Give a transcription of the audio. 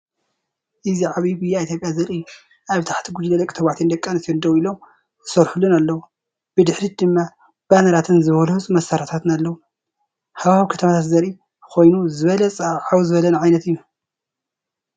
እዚ ዓቢይ ጉያ ኢትዮጵያ ዘርኢ እዩ። ኣብ ታሕቲ ጉጅለ ደቂ ተባዕትዮን ደቂ ኣንስትዮን ደው ኢሎምን ዝሰርሑን ኣለዉ። ብድሕሪት ድማ ባነራትን ዝበለጹ መሳርሒታትን ኣለዉ። ሃዋህው ከተማታት ዝርአ ኮይኑ፡ ዝበለጸን ዓው ዝበለን ዓይነት እዩ።